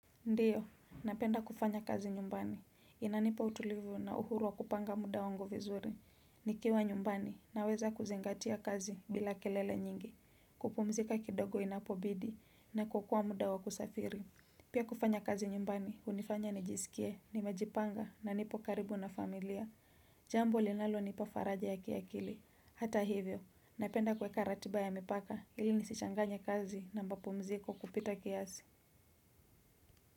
Ndio, napenda kufanya kazi nyumbani, inanipa utulivu na uhuru wa kupanga muda wangu vizuri, nikiwa nyumbani na weza kuzingatia kazi bila kelele nyingi, kupumzika kidogo inapobidi na kuokoa muda wa kusafiri. Pia kufanya kazi nyumbani, unifanya nijisikie, nimejipanga na nipo karibu na familia, jambo linalo nipafaraja ya kiakili, hata hivyo, napenda kueka ratiba ya mipaka ili nisichanganye kazi na mbapumziko kupita kiasi.